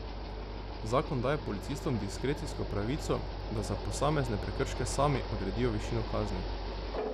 Zakon daje policistom diskrecijsko pravico, da za posamezne prekrške sami odredijo višino kazni.